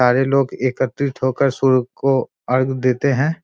सारे लोग एकत्रित होकर सूर्य को अर्ग देते हैं।